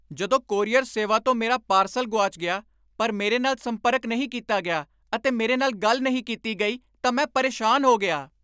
ਜਦੋਂ ਕੋਰੀਅਰ ਸੇਵਾ ਤੋਂ ਮੇਰਾ ਪਾਰਸਲ ਗੁਆਚ ਗਿਆ , ਪਰ ਮੇਰੇ ਨਾਲ ਸੰਪਰਕ ਨਹੀਂ ਕੀਤਾ ਗਿਆ ਅਤੇ ਮੇਰੇ ਨਾਲ ਗੱਲ ਨਹੀਂ ਕੀਤੀ ਗਈ, ਤਾਂ ਮੈਂ ਪਰੇਸ਼ਾਨ ਹੋ ਗਿਆ।